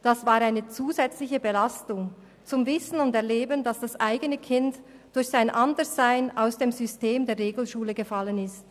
Es war eine zusätzliche Belastung, zu wissen und zu erleben, dass das eigene Kind durch sein Anderssein aus dem System der Regelschule gefallen ist.